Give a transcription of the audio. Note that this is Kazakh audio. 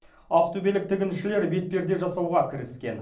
ақтөбелік тігіншілер бетперде жасауға кіріскен